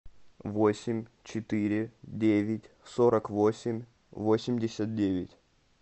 восемь четыре девять сорок восемь восемьдесят девять